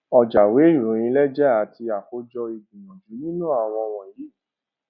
ọjàìwé ìròyìn lẹjà àti àkójọ ìgbìyànjú nínú àwọn wọnyí